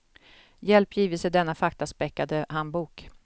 Hjälp gives i denna faktaspäckade handbok.